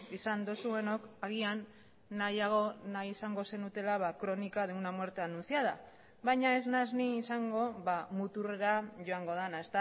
izan duzuenok agian nahiago nahi izango zenutela crónica de una muerte anunciada baina ez naiz ni izango muturrera joango dena